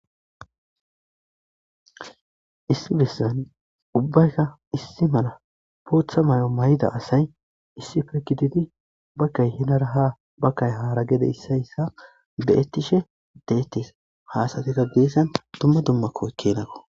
Issi besan ubayika issi mala botha mayo mayida asayi issippe gididi bagay hinira ha bagayi hara ya isoyi isuwa be,etishe de,eetes ha asatika gesan duma duma kenako